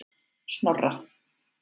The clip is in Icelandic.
Snorra